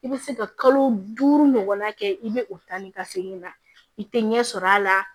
I bɛ se ka kalo duuru ɲɔgɔnna kɛ i bɛ o ta ni ka segin na i tɛ ɲɛ sɔrɔ a la